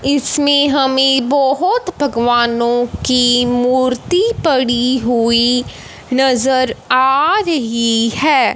इसमें हमें बहोत भगवानों की मूर्ति पड़ी हुई नजर आ रही है।